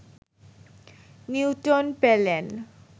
Newton পেলেন